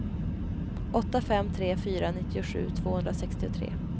åtta fem tre fyra nittiosju tvåhundrasextiotre